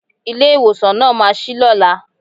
Ilé ìwòsàn náà ma ṣí lọ́la.